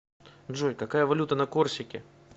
джой какая валюта на корсике